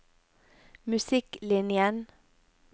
musikklinjen